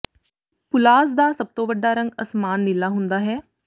ਪੁਲਾਜ਼ ਦਾ ਸਭ ਤੋਂ ਵੱਡਾ ਰੰਗ ਅਸਮਾਨ ਨੀਲਾ ਹੁੰਦਾ ਹੈ